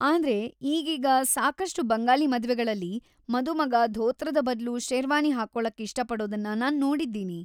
ಆದ್ರೆ, ಈಗೀಗ ಸಾಕಷ್ಟು ಬಂಗಾಲಿ ಮದ್ವೆಗಳಲ್ಲಿ ಮದುಮಗ ಧೋತ್ರದ ಬದ್ಲು ಶೇರ್ವಾನಿ ಹಾಕೊಳಕ್ಕೆ ಇಷ್ಟಪಡೋದನ್ನ ನಾನ್‌ ನೋಡಿದ್ದೀನಿ.